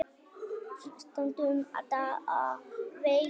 Stundum um daginn og veginn.